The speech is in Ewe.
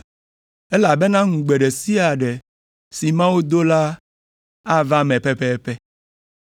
Elabena ŋugbe ɖe sia ɖe si Mawu do la ava me pɛpɛpɛ.”